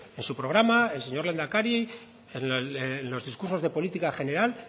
en su programa el señor lehendakari en los discursos de política general